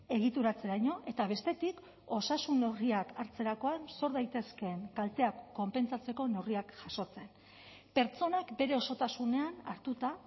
egituratzeraino eta bestetik osasun neurriak hartzerakoan sor daitezkeen kalteak konpentsatzeko neurriak jasotzen pertsonak bere osotasunean hartuta